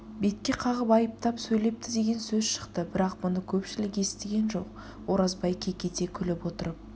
бетке қағып айыптап сөйлепті деген сөз шықты бірақ бұны көпшілік естіген жоқ оразбай кекете күліп отырып